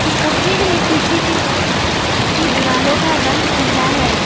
इस तस्वीर में पीछे के द की दीवालो का रंग पीला है।